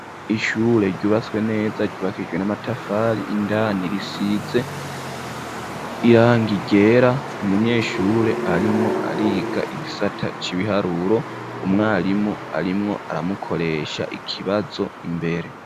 Ishure ryubatswe neza ryubakijwe n'amatafari indani risize irangi ryera, umunyeshure arimwo ariga igisata c'ibiharuro, umwarimu arimwo aramukoresha ikibazo imbere.